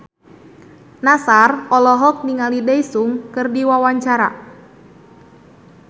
Nassar olohok ningali Daesung keur diwawancara